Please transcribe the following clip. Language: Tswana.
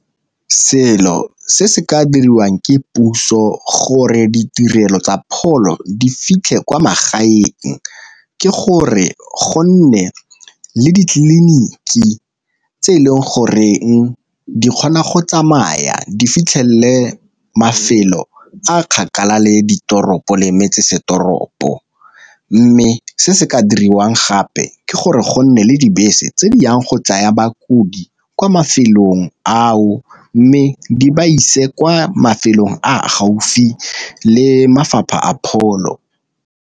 Selo se se ka diriwang ke puso gore ditirelo tsa pholo di fitlhe kwa magaeng, ke gore gonne le ditleliniki tse e leng goreng di kgona go tsamaya di fitlhelele mafelo a a kgakala le ditoropo le metsesetoropo, mme se se ka diriwang gape ke gore go nne le dibese tse di yang go tsaya bakodi kwa mafelong ao mme di ba ise kwa mafelong a gaufi le mafapha a pholo.